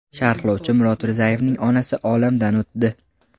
Sharhlovchi Murod Rizayevning onasi olamdan o‘tdi.